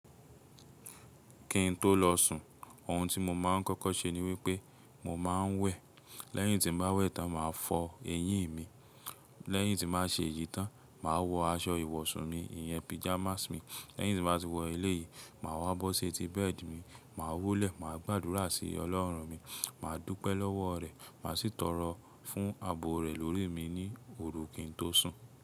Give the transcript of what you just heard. Kí n tó lọ sùn, ohun tí mo máa ń kọ́kọ́ ṣe ni wípé mo máa ń wẹ̀. Lẹ́yìn tí mo bá wẹ̀ tán, màá fọ eyín mi. Lẹ́yìn tí màá ṣe eyìí tán, màá wọ aṣọ ìwọ̀sùn mi, ìyẹn pyjamas mi. Lẹ́yìn tí mbá ti wọ eléyìí, màá wá bó ṣetí bẹ́ẹ̀dì mi, màá wólẹ̀, màá gbàdúrà sí Ọlọ́run mi, màá dúpẹ́ lọ́wọ́ rẹ̀, màá sì tọrọ fún àbò rẹ̀ lórí mi ní òru kí n tó sùn.